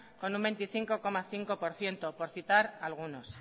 con un veinticinco coma cinco por ciento por citar a algunos